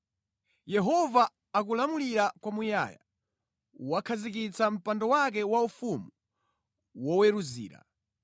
Yehova akulamulira kwamuyaya; wakhazikitsa mpando wake waufumu woweruzira.